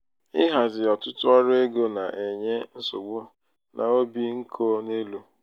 ịhazi ọtụtụ ọrụ ego na-enye nsogbu na obi nko n'elu.